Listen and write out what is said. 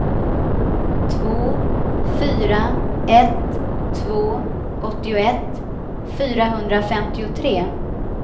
två fyra ett två åttioett fyrahundrafemtiotre